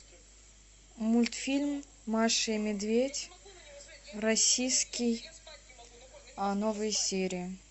мультфильм маша и медведь российский новые серии